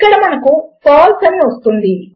ఇక్కడ మనకు ఫాల్సే అని వస్తుంది